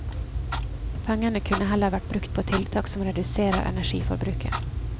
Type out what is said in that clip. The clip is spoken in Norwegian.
Pengene kunne heller vært brukt på tiltak som reduserer energiforbruket.